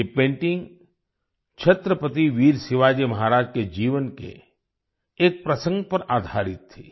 ये पेंटिंग छत्रपति वीर शिवाजी महाराज के जीवन के एक प्रसंग पर आधारित थी